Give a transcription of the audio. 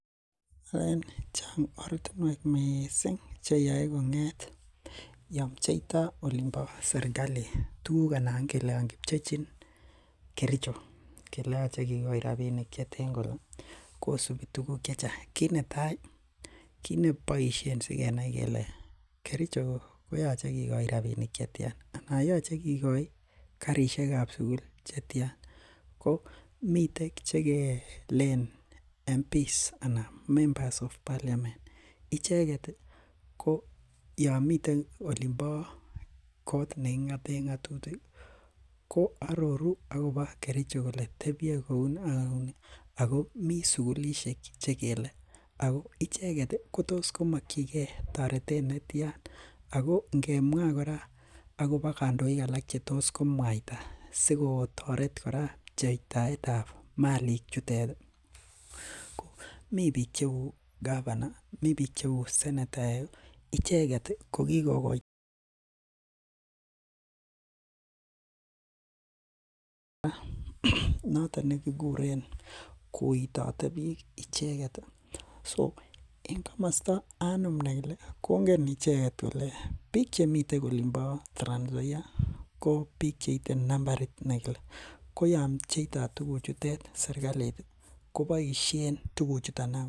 Chang ortinuek missing cheyae kong'ete Yoon pcheita olimbo serkali anan Yoon kichechin . Kericho koyache kikochin rabinik cheten kole kosibi tuguk chechang. Kit netai kit nebaishien sigenai kele kericho koyache kikoi rabinik chetyan anan yeche karisiekab sugul chetian. Ko Miten chekelene member of parliament ichet ih Yoon miten olonbo kot neking'aten ng'atutik ih, ko aroru Ako ba kericho kole tebie kouuni Ako icheket ko makien ge targeted netian Ako ingemwa kora akoba kandoik Cheetos komwaita sikotaret kora cheitaetab Malik chutet ih mi bik cheuu governor, me bik cheuu senetaek icheket ko kikokota